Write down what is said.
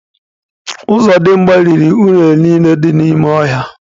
Ozodimgba riri unere niile dị n’ime ọhịa